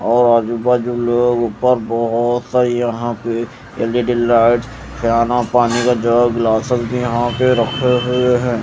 और आजू बाजू लोग ऊपर बहोत सारी यहां पे एल_ई_डी लाइट्स खाना पानी का जग ग्लासेस भी यहां पे रखे हुए हैं।